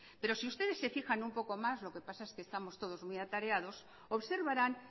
pero si ustedes se fijan un poco más lo que pasa es que estamos todos muy atareados observarán